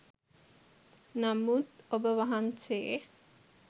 නමුත් ඔබවහන්සේ